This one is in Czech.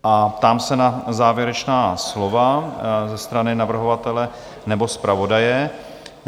A ptám se na závěrečná slova ze strany navrhovatele nebo zpravodaje?